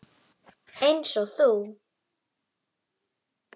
Einsog þú.